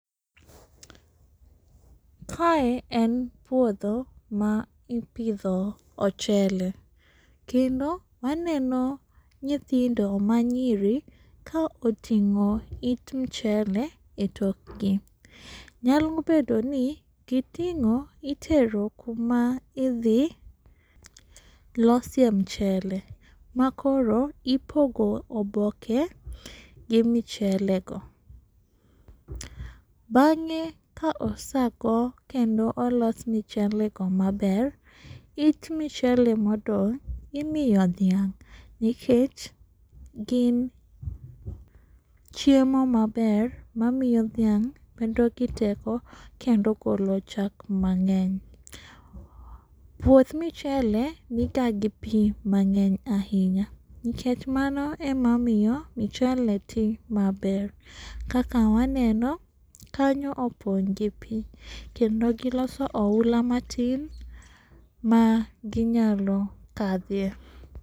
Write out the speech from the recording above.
Kae en puodho ma ipidho ochele kendo waneno nyithindo manyiri ka oting'o it mchele e tokgi. Nyalo bedo ni giting'o itero kuma idhi losie mchele ma koro ipogo oboke gi michele go. Bang'e ka osago kendo olos michele go maber, it michele modong' imiyo dhiang' nikech gin chiemo maber mamiyo dhiang' bedo gi teko kendo golo chak mang'eny. Puoth michele niga gi pii mang'eny ahinya nikech mano emamiyo michele tii maber. Kaka waneno kanyo opong' gi pii kendo giloso oula matin ma ginyalo kadhie.